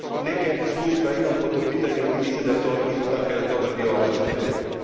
Neka iskustva imam po tom pitanju i mislim da je to isto tako jedan dobar dio vaše strategije.